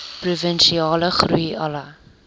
provinsiale groei alle